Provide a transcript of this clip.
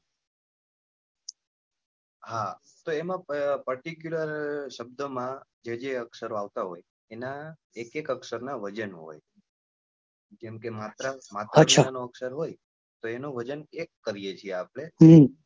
તો એમાં particular શબ્દો માં જે જે અક્ષર આવતા હોય તો એના એક એક અક્ષર નાં વજન હોય જેમ કે માત્ર માત્રનો વજન એક કરીએ કરીએ છે આપડે